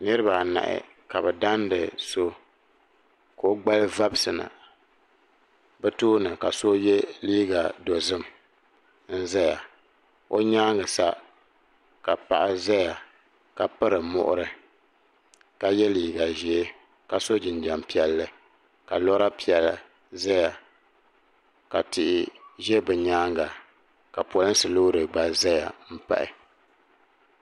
Niriba anahi ka bɛ dandi so ka o gbali vabisi na bɛ. tooni ka so. yɛ liiga dɔzim n zaya bɛ nyaanga sa ka paɣa zaya ka piri muɣiri ka yɛ liiga ʒee ka so jinjam piɛlli ka lɔra piɛlla zaya ka tihi za bɛ. nyaanga ka pɔlinsi loori gba zaya m pahi.